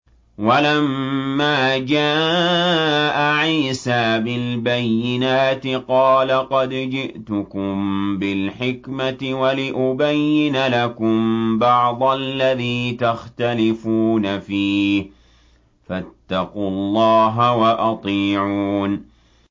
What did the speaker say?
وَلَمَّا جَاءَ عِيسَىٰ بِالْبَيِّنَاتِ قَالَ قَدْ جِئْتُكُم بِالْحِكْمَةِ وَلِأُبَيِّنَ لَكُم بَعْضَ الَّذِي تَخْتَلِفُونَ فِيهِ ۖ فَاتَّقُوا اللَّهَ وَأَطِيعُونِ